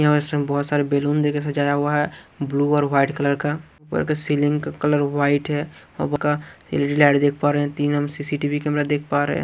यह रेस्टोरेंट बहोत सारे बैलून देके सजाया हुआ ब्ल्यू और व्हाइट कलर का सीलिंग का कलर व्हाइट है एल_ई_डी लाइट देख पा रहे है तीन हम सी_सी_टी_वी कैमरा देख पा रहे--